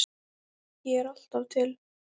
Ég er alltaf til.